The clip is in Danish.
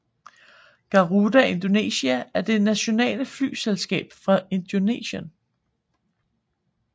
Garuda Indonesia er det nationale flyselskab fra Indonesien